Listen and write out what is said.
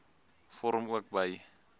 vorm ook by